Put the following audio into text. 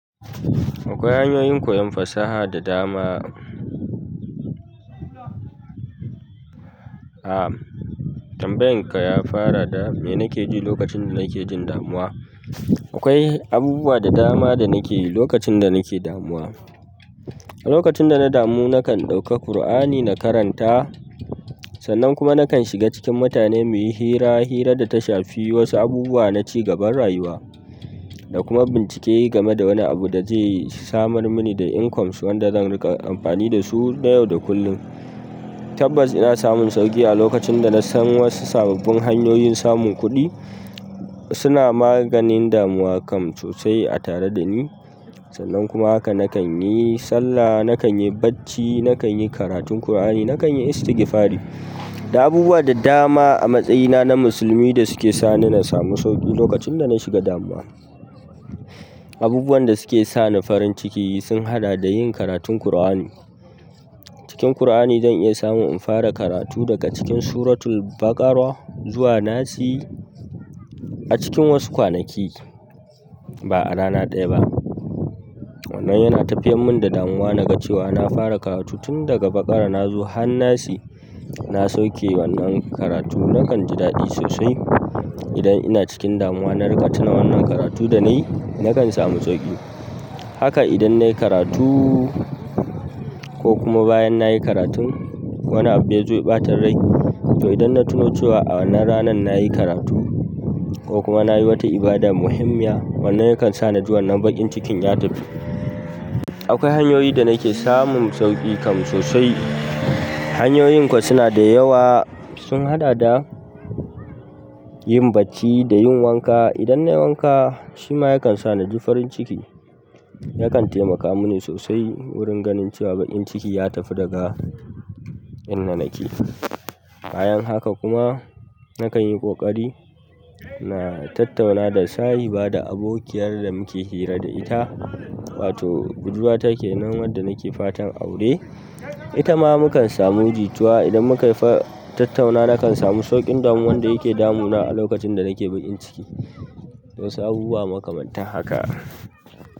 Akwai hanyoyin koyan fasaha da dama. Ah tambayan ka ya fara da me nake ji lokacin da nake jin damuwa. Akwai abubuwa da dama da nake yi lokacin da nake damuwa. Lokacin dana damu nakan ɗauka Qur'ani na karanta, sannan kuma nakan shiga cikin mutane muyi hira, hira data shafi wasu abubuwa na ci gaban rayuwa da kuma bincike game da wani abu da zai samar mini da incomes wanda zan riƙa amfani dasu nayau da kullum, tabbas ina samun sauƙi a lokacin dana san wasu sababbin hanyoyi na samun kuɗi suna maganin damuwa kan sosai a tare da ni. Sannan kuma haka nakan yi sallah, nakan yi bacci, nakan yi karatun Kur'ani, nakan yi istigfari. Da abubuwa da dama a matsayina na musulmi da suke sa ni na samu sauƙi lokacin da na shiga damuwa. Abubuwan da suke sa ni farin ciki sun haɗa da yin karatun Kur'ani. Cikin Kur'ani zan iya samun in fara karatu daga cikin Suratul Baqarah zuwa Nasi a cikin wasu kwanaki, ba a rana ɗaya ba. Wannan yana tafiyar mun da damuwa naga cewa na fara karatu tun daga Baqarah na zo hannasi na sauke wannan karatu. Nakan ji daɗi sosai idan ina cikin damuwa na riƙa tuna wannan karatu da na yi, nakan samu sauƙi. Haka idan na yi karatu ko kuma bayan na yi karatun, wani abu ya zo ya ɓatan rai. To idan na tuno cewa a wannan ranan na yi karatu ko kuma na yi wata ibada muhimmiya, wannan yakan sa na ji wannan baƙin cikin ya tafi. Akwai hanyoyin da nake samun sauƙi kam sosai. Hanyoyin kuwa suna da yawa sun haɗa da yin bacci da yin wanka. Idan na yi wanka, shi ma yakan sa na ji farin ciki. Yakan taimaka mini sosai wurin ganin cewa bakin ciki ya tafi daga inda nake. Bayan haka kuma nakan yi ƙoƙari na tattauna da sahiba da abokiyar da muke hira da ita, wato budurwata ke nan wadda nake fatan aure. Ita ma mukan samu jituwa idan muka tattauna nakan samu sauƙin damuwan da yake damuna a lokacin da nake baƙin ciki. Wasu abubuwa makamanta haka.